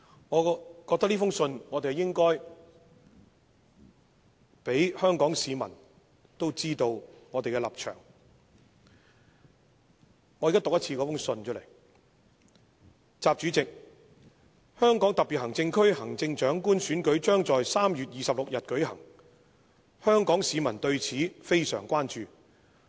我認為應讓香港市民知道我們的立場，現在讓我將該信讀出："習主席：香港特別行政區行政長官選舉將在3月26日舉行，香港市民對此非常關注。